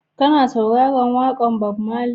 Kana sauraron waƙar Bob Marley?